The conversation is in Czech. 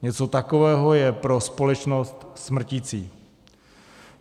Něco takového je pro společnost smrticí.